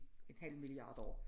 En halv milliard år